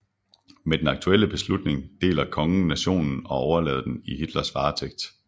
Med den aktuelle beslutning deler kongen nationen og overlader den i Hitlers varetægt